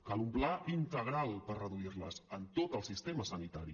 cal un pla integral per reduir les en tot el sistema sanitari